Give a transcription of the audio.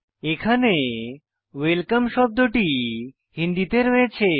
এখানে ওয়েলকাম শব্দটি হিন্দিতে রয়েছে